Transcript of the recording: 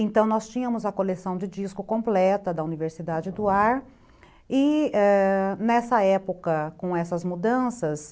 Então, nós tínhamos a coleção de disco completa da Universidade do Ar, e ãh nessa época, com essas mudanças,